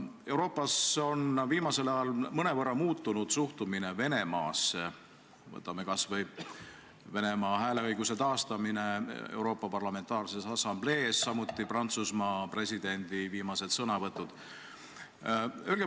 Euroopas on viimasel ajal mõnevõrra muutunud suhtumine Venemaasse, võtame kas või Venemaa hääleõiguse taastamise Euroopa Nõukogu Parlamentaarses Assamblees, samuti Prantsusmaa presidendi viimased sõnavõtud.